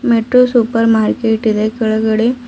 metro supermarket ಇದೆ ಕೆಳಗಡೆ--